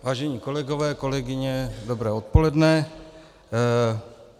Vážení kolegové, kolegyně, dobré odpoledne.